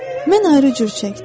Mən ayrı cür çəkdim.